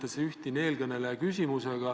Need on põhiteemad, millega ma olen jõudnud juba tegeleda.